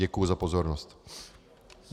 Děkuji za pozornost.